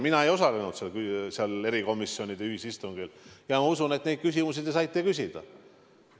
Mina ei osalenud seal erikomisjonide ühisistungil, aga ma usun, et te neid küsimusi saite küsida.